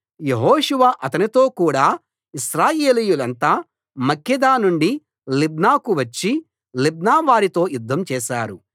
యెహోషువ అతనితో కూడా ఇశ్రాయేలీయులంతా మక్కేదా నుండి లిబ్నాకు వచ్చి లిబ్నావారితో యుద్ధం చేశారు